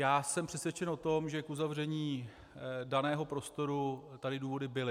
Já jsem přesvědčen o tom, že k uzavření daného prostoru tady důvody byly.